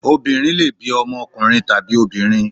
Obìnrin lè bí ọmọ ọkùnrin tàbí obìnrin.